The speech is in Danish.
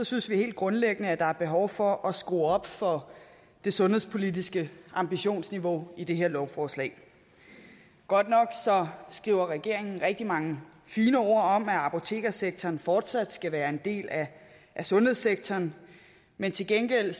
synes vi helt grundlæggende at der er behov for at skrue op for det sundhedspolitiske ambitionsniveau i det her lovforslag godt nok skriver regeringen rigtig mange fine ord om at apotekssektoren fortsat skal være en del af sundhedssektoren men til gengæld